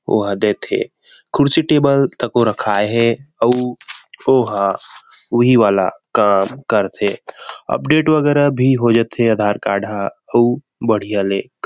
वह देथे कुर्सी टेबल त को रखाये हे अउ ओहा उहि वाला काम करथे अपडेट वगेरा भी हो जथे आधार कार्ड ह अउ बहुत बढ़िया ले--